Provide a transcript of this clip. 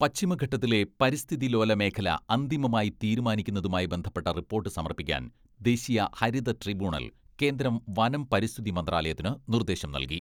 പശ്ചിമഘട്ടത്തിലെ പരിസ്ഥിതിലോല മേഖല അന്തിമമായി തീരുമാനിക്കുന്നതുമായി ബന്ധപ്പെട്ട റിപ്പോട്ട് സമർപ്പിക്കാൻ ദേശീയ ഹരിത ട്രിബ്യൂണൽ കേന്ദ്ര വനം പരിസ്ഥിതി മന്ത്രാലയത്തിന് നിർദ്ദേശം നൽകി.